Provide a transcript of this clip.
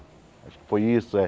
Acho que foi isso, é?